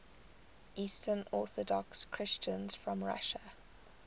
eastern orthodox christians from russia